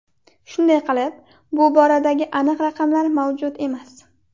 Shunday qilib, bu boradagi aniq raqamlar mavjud emas.